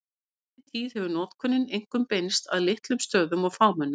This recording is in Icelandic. Í seinni tíð hefur notkunin einkum beinst að litlum stöðum og fámennum.